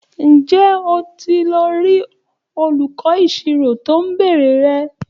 Ǹjẹ́ o ti lọ rí olùkọ́ ìṣirò tó ń béèrè rẹ?